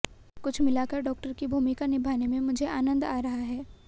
कुल मिलाकर डॉक्टर की भूमिका निभाने में मुझे आनंद आ रहा है